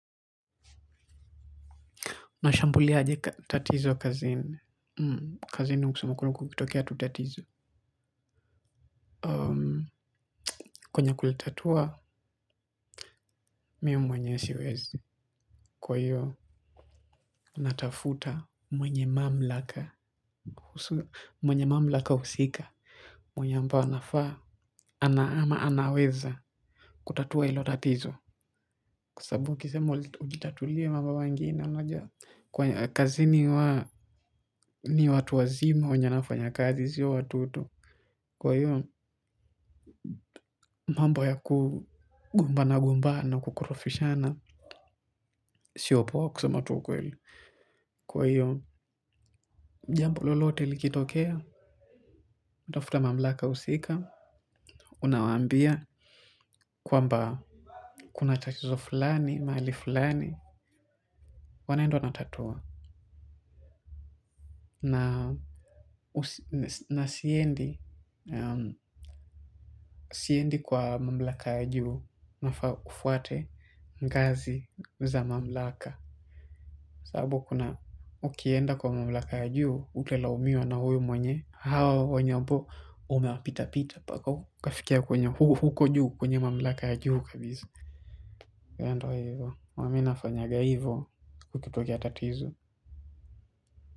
Nashambulia aje tatizo kazini. Kazini kusema kweli kukitokia tu tatizo. Kwenye kulitatua, mi mwenyewe siwezi. Kwa hiyo natafuta mwenye mamlaka. Mwenye mamlaka husika. Mwenye ambaye anafaa. Ana ama anaweza. Kutatua ilo tatizo. Kwa sababu kisema ujitatulie mambo mengine. Kazini ni watu wazima. Wenye wanafanya kazi si watoto. Kwa hiyo mambo ya kugopmbana gombana kukorofishana sio poa kusema tu ukweli. Kwa hiyo, jambo lolote likitokea, utafuta mamlaka usika, unawambia kwamba kuna tatizo fulani, maali fulani, wanaenda wanatatua. Na siendi kwa mamlaka ajuhu na kufuate ngazi za mamlaka. Sababu kuna ukienda kwa mablaka ya juu, utalaumiwa na huyu mwenye. Hawa wanye ambo, umewapita pita. Paka ukafikia kwenye huko juu kwenye mamlaka ya juu kabisa. Ya ndo wa hivyo. Huwa mi nafanyaga hivyo kukitokia tatizu.